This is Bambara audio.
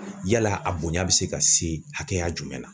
Yala a bonya bɛ se ka se hakɛya jumɛn ma?